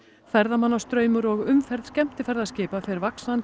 ferðamannastraumur og umferð skemmtiferðaskipa fer vaxandi